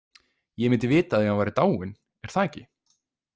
Ég myndi vita af því ef hann væri dáinn, er það ekki?